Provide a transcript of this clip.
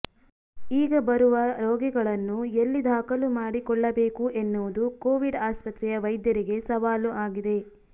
ಈಗ ಬರುವ ರೋಗಿಗಳನ್ನು ಎಲ್ಲಿ ದಾಖಲು ಮಾಡಿಕೊಳ್ಳಬೇಕು ಎನ್ನುವುದು ಕೋವಿಡ್ ಆಸ್ಪತ್ರೆಯ ವೈದ್ಯರಿಗೆ ಸವಾಲು ಆಗಿದೆ